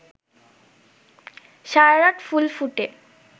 সারারাত ফুল ফুটে